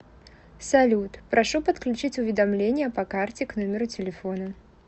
салют прошу подключить уведомление по карте к номеру телефона